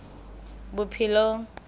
bophelong